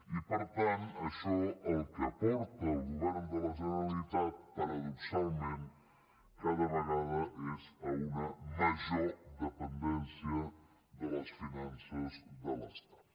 i per tant això allò a què porta el govern de la generalitat paradoxalment cada vegada és a una major dependència de les finances de l’estat